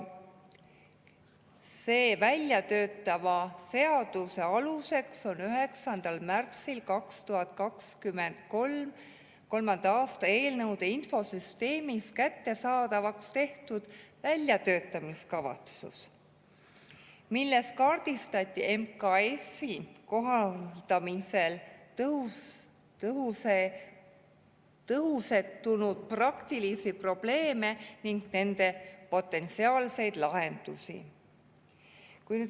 Selle väljatöötatava seaduse aluseks on 9. märtsil 2023. aastal eelnõude infosüsteemis kättesaadavaks tehtud väljatöötamiskavatsus, milles kaardistati MKS‑i kohaldamisel tõusetunud praktilisi probleeme ning nende potentsiaalseid lahendusi.